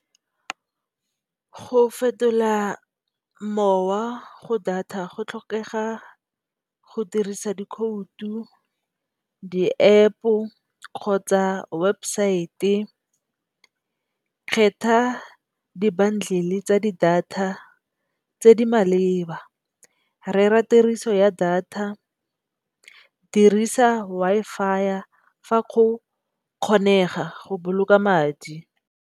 Go fetola mowa go data go tlhokega go dirisa dikhoutu, di epo kgotsa webesaete, kgetha dibundle tsa di data tse di maleba. Rera tiriso ya data dirisa Wi-Fi fa go kgonega go boloka madi.